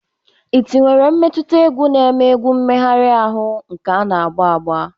iti were mmetụta egwu na-eme egwu emehari ahu na nke ana ágbà ágbà.